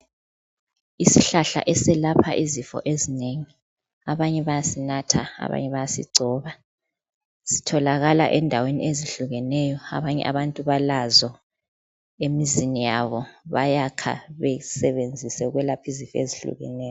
Isihlahla esilapha izinto ezinengi abanya bayasintha abanye bayasigcoba zitholakala endaweni ezihlukeneyo abanye balazo emizini yabo bayakha besebenzise ukulapha izifo ezihlukeneyo